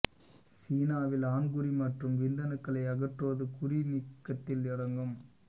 சீனாவில் ஆண்குறி மற்றும் விந்தணுக்களை அகற்றுவது குறி நீக்கத்தில் அடங்கும்